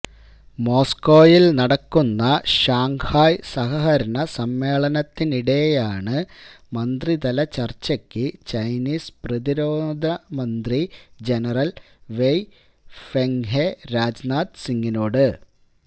മോസ്കോയില് നടക്കുന്ന ഷാങ്ഹായ് സഹകരണ സമ്മേളനത്തിനിടെയാണ് മന്ത്രിതല ചര്ച്ചയ്ക്ക് ചൈനീസ് പ്രതിരോധ മന്ത്രി ജനറല് വെയ് ഫെങ്ഹെ രാജ്നാഥ് സിങ്ങിനോട്